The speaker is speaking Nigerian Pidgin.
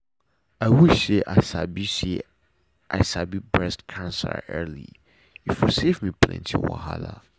i wish say i sabi say i sabi breast cancer early e for save me plenty wahala.